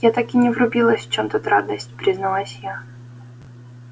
я так и не врубилась в чём тут радость призналась я